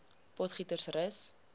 potgietersrus